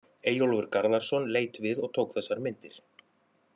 Eyjólfur Garðarsson leit við og tók þessar myndir.